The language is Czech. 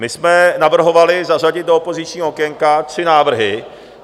My jsme navrhovali zařadit do opozičního okénka tři návrhy.